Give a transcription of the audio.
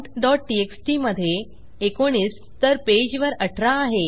countटीएक्सटी मधे 19 तर पेजवर 18 आहे